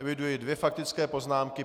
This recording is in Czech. Eviduji dvě faktické poznámky.